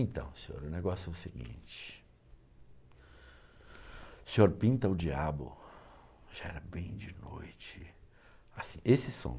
Então, senhor, o negócio é o seguinte, o senhor pinta o diabo, já era bem de noite, assim, esse som,